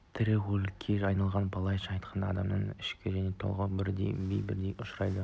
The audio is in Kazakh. тірі өлікке айналғандай былайша айтқанда адамның ішкі мені толық түрде бей-берекетсіздікке ұшырайды